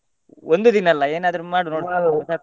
ಒಂದು ದಿನ ಅಲ್ಲ ಏನಾದ್ರು ಮಾಡು .